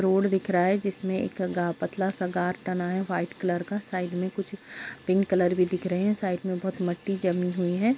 Road दिख रहा है जिसमे एक पतला-सा गार तना है व्हाइट कलर का साइड में कुछ पिंक कलर भी दिख रहे है साइड में बहुत मट्टी जमी हुई है।